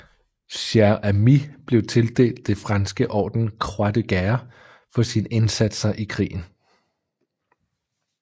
Cher Ami blev tildelt det franske orden Croix de Guerre for sine indsatser i krigen